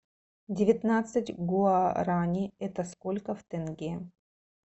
девятнадцать гуарани это сколько в тенге